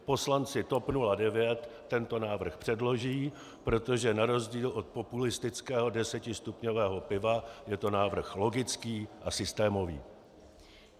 Poslanci TOP 09 tento návrh předloží, protože na rozdíl od populistického desetistupňového piva je to návrh logický a systémový.